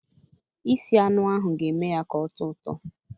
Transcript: Isi anụ ahụ ga-eme ya ka ọ tọọ ụtọ